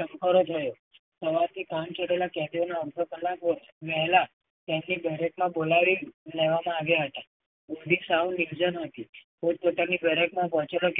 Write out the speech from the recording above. ચમકારો થયો. સવારથી છોડેલા કેદીઓનો અડધો કલાકો ગયેલા તેમની દરેક માં બોલાવી લેવામાં આવ્યા હતા. ન્ હતી.